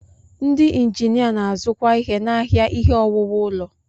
Ndị injinia na-azukwa ihe n'ahịa ihe owuwu ụlọ.